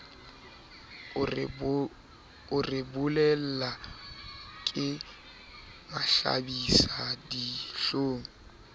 a re bolella le mahlabisadihlong